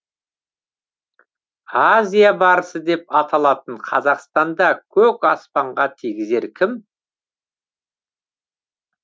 азия барысы деп аталатын қазақстанда көк аспанға тигізер кім